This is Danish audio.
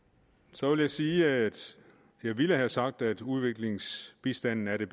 så vil jeg sige at jeg ville have sagt at udviklingsbistanden er den